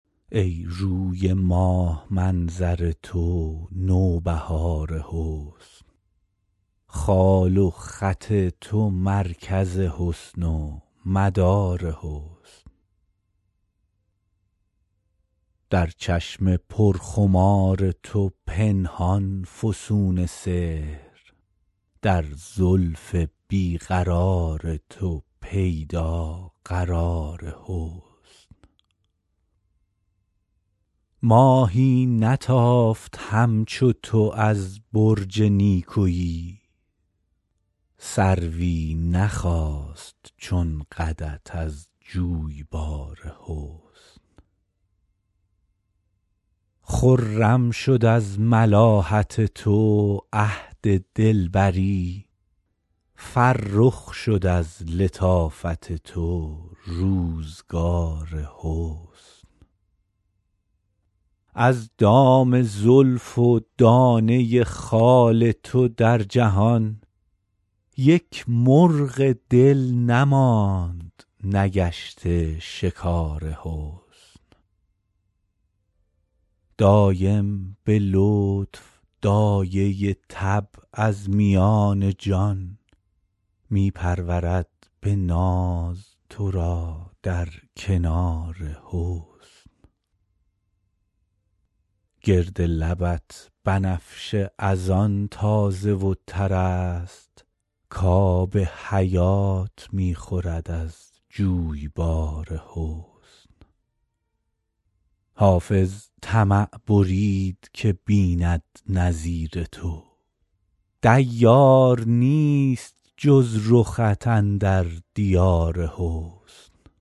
ای روی ماه منظر تو نوبهار حسن خال و خط تو مرکز حسن و مدار حسن در چشم پرخمار تو پنهان فسون سحر در زلف بی قرار تو پیدا قرار حسن ماهی نتافت همچو تو از برج نیکویی سروی نخاست چون قدت از جویبار حسن خرم شد از ملاحت تو عهد دلبری فرخ شد از لطافت تو روزگار حسن از دام زلف و دانه خال تو در جهان یک مرغ دل نماند نگشته شکار حسن دایم به لطف دایه طبع از میان جان می پرورد به ناز تو را در کنار حسن گرد لبت بنفشه از آن تازه و تر است کآب حیات می خورد از جویبار حسن حافظ طمع برید که بیند نظیر تو دیار نیست جز رخت اندر دیار حسن